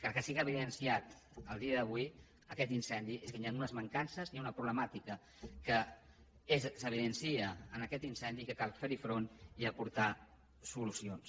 el que sí que ha evidenciat a dia d’avui aquest incendi és que hi han unes mancances hi ha una problemàtica que s’evidencia en aquest incendi que cal fer hi front i aportar solucions